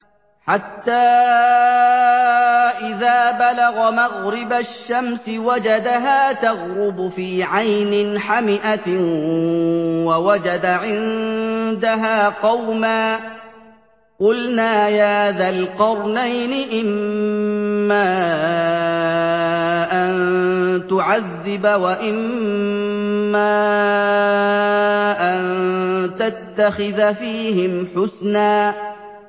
حَتَّىٰ إِذَا بَلَغَ مَغْرِبَ الشَّمْسِ وَجَدَهَا تَغْرُبُ فِي عَيْنٍ حَمِئَةٍ وَوَجَدَ عِندَهَا قَوْمًا ۗ قُلْنَا يَا ذَا الْقَرْنَيْنِ إِمَّا أَن تُعَذِّبَ وَإِمَّا أَن تَتَّخِذَ فِيهِمْ حُسْنًا